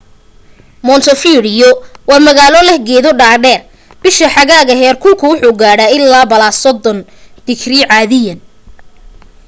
montevideo waa magaalo leh geedo dhadheer; bisha xagaaga heer kulku wuxuu gaadhaa ilaa +30°c caadiyan